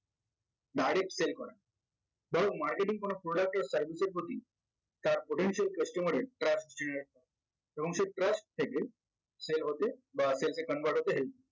direct sale করা ধরো marketing কোনো product of service এর প্রতি তার potential customer এর এর এবং সে trust থেকে sale হতে বা sales এ convert হতে